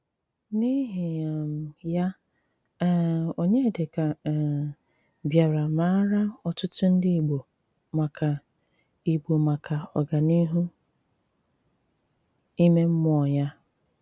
N’íhì um yá, um Ọnyédíkà um bìárà máárá ótụ́tù ndí Ìgbò maka Ìgbò maka ọ́gáníhù ímé mmùọ́ yá.